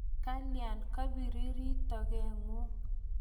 Kalya kapiriri toget ng'ung'?